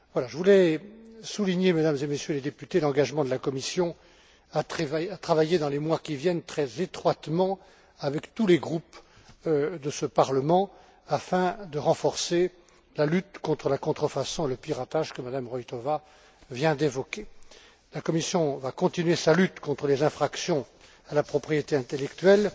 Je voulais souligner, Mesdames et Messieurs les députés, l'engagement de la Commission à travailler, dans les mois qui viennent, très étroitement avec tous les groupes de ce Parlement afin de renforcer la lutte contre la contrefaçon et le piratage que Mme Roithová vient d'évoquer. La Commission va continuer sa lutte contre les infractions à la propriété intellectuelle